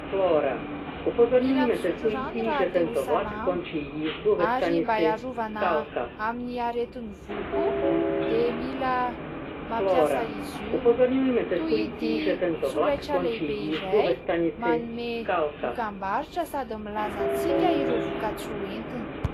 Mila misotro rano raha te ho salama, ary mba iarovana amin'ny aretin'ny voa koa, dia mila mampiasa izy io. Toy ity solaitra lehibe iray manome dokam-barotra sady milaza antsika ireo voka-tsoa entiny.